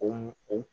O o